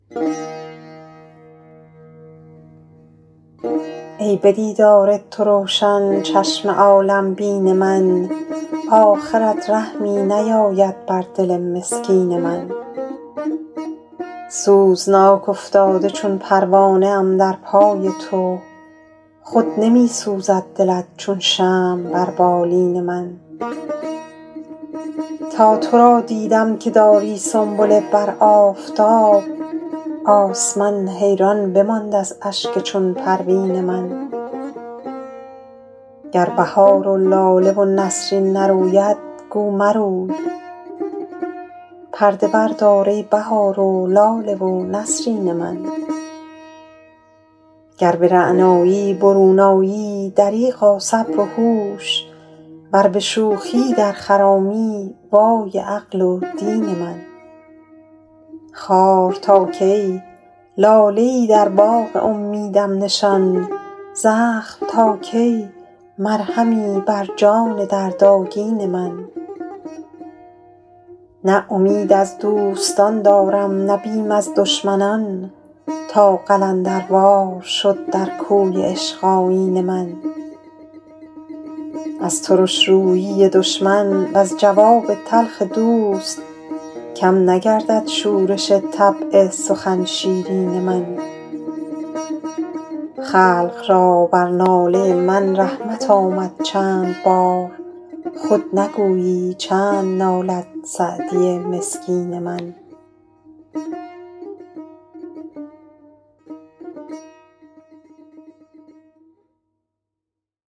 ای به دیدار تو روشن چشم عالم بین من آخرت رحمی نیاید بر دل مسکین من سوزناک افتاده چون پروانه ام در پای تو خود نمی سوزد دلت چون شمع بر بالین من تا تو را دیدم که داری سنبله بر آفتاب آسمان حیران بماند از اشک چون پروین من گر بهار و لاله و نسرین نروید گو مروی پرده بردار ای بهار و لاله و نسرین من گر به رعنایی برون آیی دریغا صبر و هوش ور به شوخی در خرامی وای عقل و دین من خار تا کی لاله ای در باغ امیدم نشان زخم تا کی مرهمی بر جان دردآگین من نه امید از دوستان دارم نه بیم از دشمنان تا قلندروار شد در کوی عشق آیین من از ترش رویی دشمن وز جواب تلخ دوست کم نگردد شورش طبع سخن شیرین من خلق را بر ناله من رحمت آمد چند بار خود نگویی چند نالد سعدی مسکین من